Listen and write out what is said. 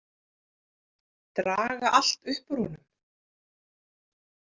Draga allt upp úr honum.